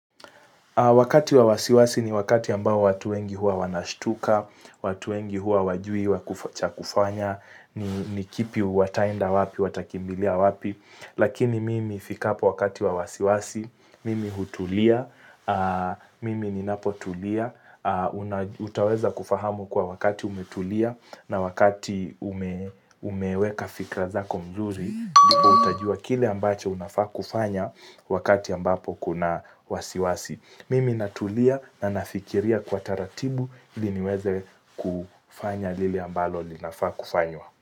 Wakati wa wasiwasi ni wakati ambao watu wengi huwa wanashtuka, watu wengi huwa hawajui, cha kufanya, ni kipi wataenda wapi, watakimbilia wapi. Lakini mimi fikapo wakati wa wasiwasi, mimi hutulia, mimi ninapotulia, utaweza kufahamu kuwa wakati umetulia na wakati umeweka fikira zako mzuri. Ndipo utajua kile ambacho unafaa kufanya wakati ambapo kuna wasiwasi. Mimi natulia na nafikiria kwa taratibu ili niweze kufanya lile ambalo linafaa kufanywa.